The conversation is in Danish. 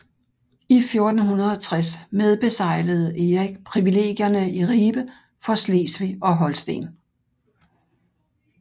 I 1460 medbeseglede Erik privilegierne i Ribe for Slesvig og Holsten